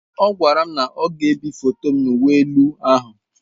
Ọ gwara m na ọ ga-ebi foto m na uwe elu ahụ.